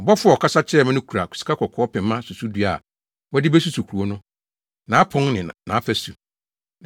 Ɔbɔfo a ɔkasa kyerɛɛ me no kura sikakɔkɔɔ pema susudua a wɔde besusuw kurow no, nʼapon ne nʼafasu.